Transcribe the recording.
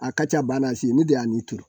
A ka ca ba n'a si ye ne de y'a turu